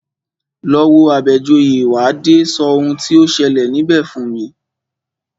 Lọ wo Àbẹ̀joyè, wà á dé sọ oun tí o ṣẹlẹ̀ níbẹ̀ fún mi!